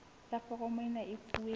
ya foromo ena e fuwe